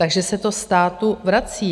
Takže se to státu vrací.